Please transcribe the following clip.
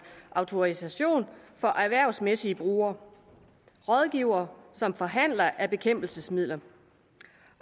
autorisation for erhvervsmæssige brugere og rådgivere samt forhandlere af bekæmpelsesmidler